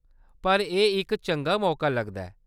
पर एह्‌‌ इक चंगा मौका लगदा ऐ।